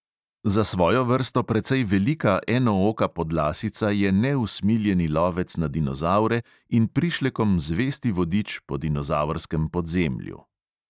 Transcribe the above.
Za svojo vrsto precej velika enooka podlasica je neusmiljeni lovec na dinozavre in prišlekom zvesti vodič po dinozavrskem podzemlju.